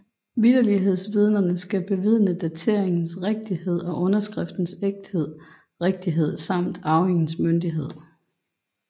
Vitterlighedsvidnerne skal bevidne dateringens rigtighed og underskriftens ægthed rigtighed samt arvingens myndighed